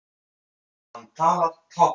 Hann talar táknmál.